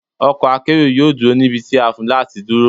Ọkọ̀ akérò yóò dúró níbi tí a fún láti dúró.